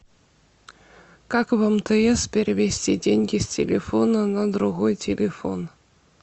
как в мтс перевести деньги с телефона на другой телефон